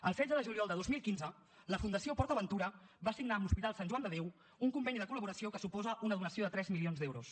el setze de juliol de dos mil quinze la fundació port aventura va signar amb l’hospital sant joan de déu un conveni de col·laboració que suposa una donació de tres milions d’euros